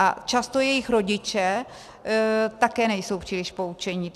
A často jejich rodiče také nejsou příliš poučeni.